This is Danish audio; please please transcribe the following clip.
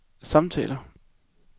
samtaler